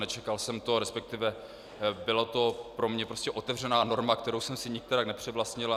Nečekal jsem to, respektive byla to pro mě prostě otevřená norma, kterou jsem si nikterak nepřivlastnil.